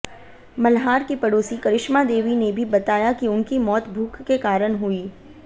मल्हार की पड़ोसी करिश्मा देवी ने भी बताया कि उनकी मौत भूख के कारण हुई